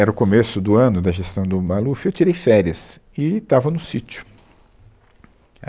Era o começo do ano da gestão do Maluf, eu tirei férias e estava no sítio.